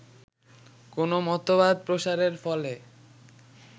কোন মতবাদ প্রসারের ফলে